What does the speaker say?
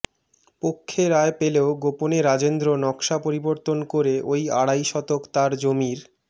পক্ষে রায় পেলেও গোপনে রাজেন্দ্র নকশা পরিবর্তন করে ওই আড়াই শতক তার জমির